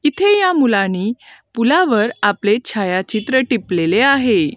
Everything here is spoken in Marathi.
इथे या मुलांनी पुलावर आपले छायाचित्र टिपलेले आहे.